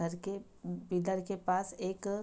घर के पिलर के पास एक --